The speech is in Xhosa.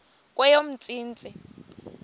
kweyomntsintsi